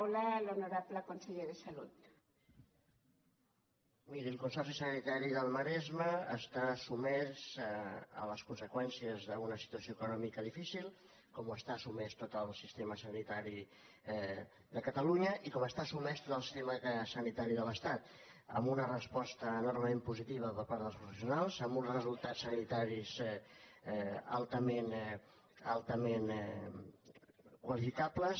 miri el consorci sanitari del maresme està sotmès a les conseqüències d’una situació econòmica difícil com hi està sotmès tot el sistema sanitari de catalunya i com hi està sotmès tot el sistema sanitari de l’estat amb una resposta enormement positiva per part dels professionals amb uns resultats sanitaris altament qualificables